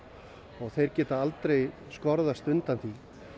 og þeir geta aldrei skorast undan því